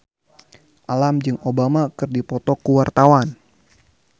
Alam jeung Obama keur dipoto ku wartawan